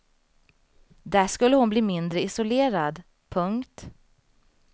Där skulle hon bli mindre isolerad. punkt